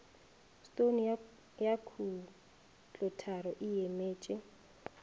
stone ya khutlotharo e emetše